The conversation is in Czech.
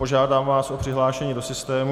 Požádám vás o přihlášení do systému.